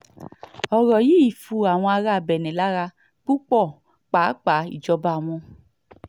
ọ̀rọ̀ yìí fu àwọn ará benne lára púpọ̀ pàápàá ìjọba wọn